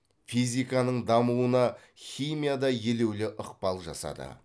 физиканың дамуына химия да елеулі ықпал жасады